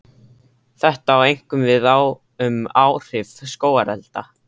Þetta á einkum við um áhrif skógarelda.